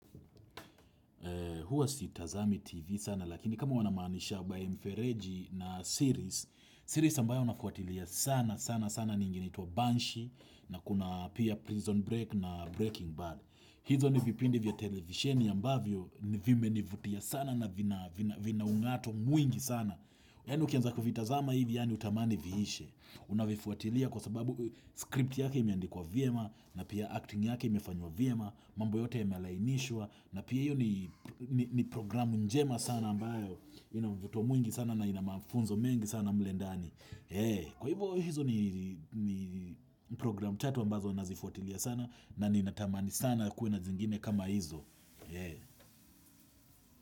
Huwa sitazami TV sana lakini kama unamaanisha by mfereji na series, series ambayo nafuatilia sana sana sana ni ingine inaitwa Banshee na kuna pia Prison break na Breaking Bad. Hizo ni vipindi vya televisheni ambavyo vimenivutia sana na vina ung'ato mwingi sana. Yaani ukianza kuvitazama hivi yaani hutamani viishe Unavifuatilia kwa sababu script yake imeandikwa vyema na pia acting yake imefanywa vyema mambo yote yamelainishwa na pia hiyo ni programu njema sana ambayo ina mvuto mwingi sana na ina mafunzo mengi sana mle ndani Kwa hivyo hizo ni programu tatu ambazo nazifuatilia sana na ninatamani sana kuwe na zingine kama hizo.